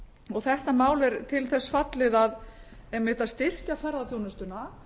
og þetta mál er til þess fallið að einmitt að styrkja ferðaþjónustuna